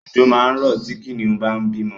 Ọ̀jọ̀ máa rọ̀ tí Kìnìún bá ń bímọ